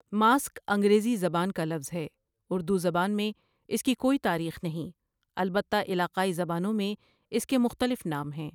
Mask انگریزی زبان کا لفظ ہے، اردو زبان میں اس کی کوئی تاریخ نہیں البتہ علاقائی زبانوں میں اس کے مختلف نام ہیں۔